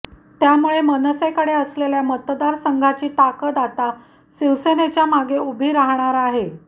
त्यामुळे मनसेकडे असलेल्या मतदारसंघाची ताकद आता शिवसेनेच्या मागे उभी राहणार आहे